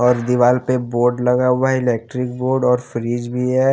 और दिवाल पे बोर्ड लगा हुआ है इलेक्ट्रिक बोर्ड और फ्रिज भी है।